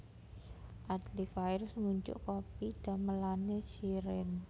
Adly Fairuz ngunjuk kopi damelane Shireen